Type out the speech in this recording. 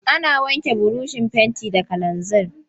Ana wanke burushin fenti da kalanzir.